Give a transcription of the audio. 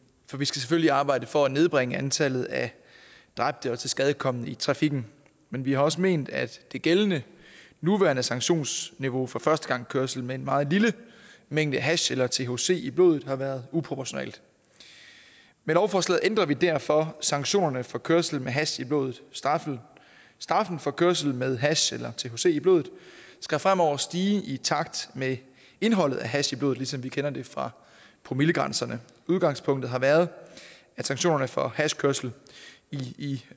for vi skal selvfølgelig arbejde for at nedbringe antallet af dræbte og tilskadekomne i trafikken men vi har også ment at det gældende nuværende sanktionsniveau for førstegangskørsel med en meget lille mængde hash eller thc i blodet har været uproportionalt med lovforslaget ændrer vi derfor sanktionerne for kørsel med hash i blodet straffen straffen for kørsel med hash eller thc i blodet skal fremover stige i takt med indholdet af hash i blodet ligesom vi kender det fra promillegrænserne udgangspunktet har været at sanktionerne for hashkørsel i